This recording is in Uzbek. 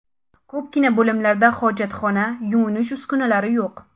Ko‘pgina bo‘limlarda hojatxona, yuvinish uskunalari yo‘q.